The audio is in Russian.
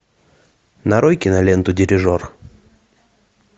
нарой киноленту дирижер